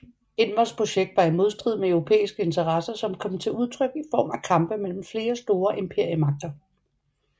Envers projekt var i modstrid med europæiske interesser som kom til udtryk i form af kampe mellem flere store imperiemagter